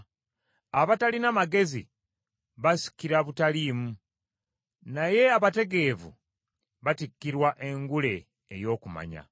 Abatalina magezi basikira butaliimu, naye abategeevu batikkirwa engule ey’okumanya.